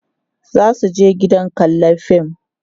zasu je gidan kallan fim